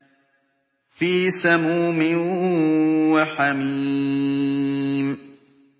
فِي سَمُومٍ وَحَمِيمٍ